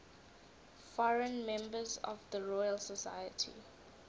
foreign members of the royal society